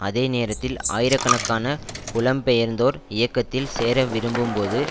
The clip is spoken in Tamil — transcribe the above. அதே நேரத்தில் ஆயிரக்கணக்கான புலம்பெயர்ந்தோர் இயக்கத்தில் சேர விரும்பும்போது